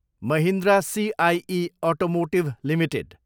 Mahindra CIE automotive Ltd